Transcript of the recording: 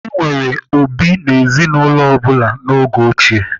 E nwere obi n'ezinụlọ ọ bụla n'oge ochie.